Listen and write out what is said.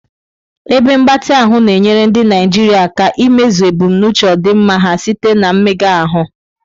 Ebe mgbatị ahụ na-enyere ndị Naijiria aka imezu ebumnuche ọdịmma ha site na mmega ahụ.